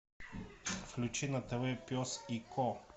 включи на тв пес и ко